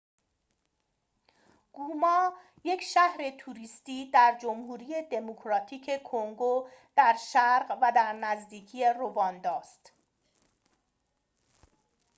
گوما یک شهر توریستی در جمهوری دموکراتیک کنگو در شرق و در نزدیکی رواندا است